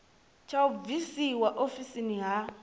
tsha u bvisiwa ofisini ha